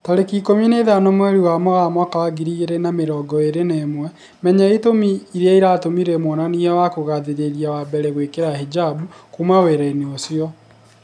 Tarĩki ikũmi na ithano mweri wa Mũgaa mwaka wa ngiri igĩri na mĩrongo ĩri na ĩmwe, Menya itũmi irĩa ciatũmire mwonania wa kugathĩrĩria wa mbere gwĩkira hijab "kuma wĩra-inĩ ucio"